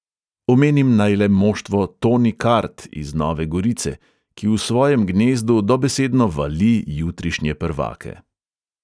Omenim naj le moštvo toni kart iz nove gorice, ki v svojem gnezdu dobesedno vali jutrišnje prvake.